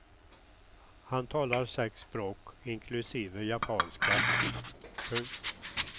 Han talar sex språk inklusive japanska. punkt